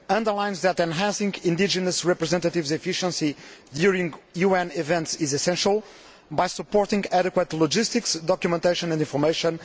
underlines that enhancing indigenous representatives' efficiency during UN events is essential by supporting adequate logistics, documentation and information